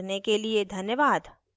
हमारे साथ जुड़ने के लिए धन्यवाद